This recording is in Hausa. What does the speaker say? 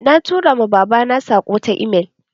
Na tura ma babana saƙo ta email